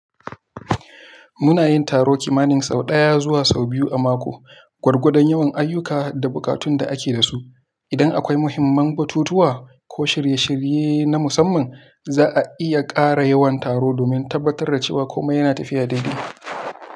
Muna yin taro kimanin sau ɗaya zuwa sau biyu a mako, gwargwadon yawan ayyuka da buƙatun da ake da su. Idan akwai muhimman batutuwa, ko shirye-shirye na musamman, za a iya ƙara yawan taro domin tabbatar da cewa kome yana tafiya daidai.